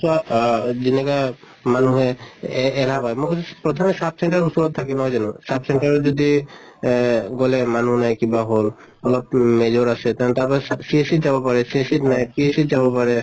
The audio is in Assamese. চোৱা আহ যেনেকা মানুহে এহ কয় মই সুধিছো প্ৰথমে sub center ওচৰত থাকে নহয় জানো? sub center ত যদি এহ গʼল মানুহ নাই কিবা হʼল অলপ major আছে তাৰ পা CHC যাব পাৰে | CHC নাই PHC ত যাব পাৰে